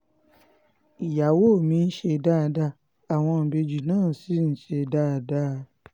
ìyàwó mi ń ṣe dáadáa àwọn ìbejì náà ṣì ń ṣe dáadáa